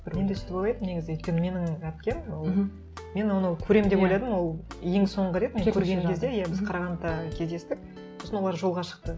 мен де сөйтіп ойлайтынмын негізі өйткені менің әпкем ол мен оны көремін деп ойладым ол ең соңғы рет мен көрген кезде иә біз қарағандыда кездестік сосын олар жолға шықты